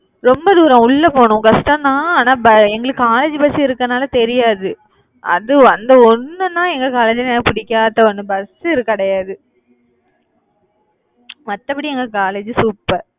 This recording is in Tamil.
ரொம்ப தூரம் உள்ள போகணும் கஷ்டம் தான். ஆனா எங்களுக்கு college பஸ் இருக்கனாலே தெரியாது அது அந்த ஒண்ணுன்னா எங்க college ல எனக்கு பிடிக்காத ஒண்ணு பஸ்ஸு கிடையாது, மத்தபடி எங்க college super